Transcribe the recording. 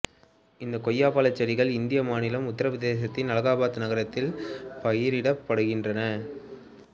இந்த கொய்யாப்பழச் செடிகள் இந்திய மாநிலமான உத்தரப் பிரதேசத்தின் அலகாபாத் நகரத்தில் பயிரிடப்படுகின்றன